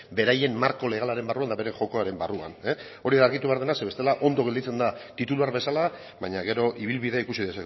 beraien marko legalaren barruan eta bere jokoaren barruan hori argitu behar dena zeren bestela ondo gelditzen da titular bezala baina gero ibilbide ikusi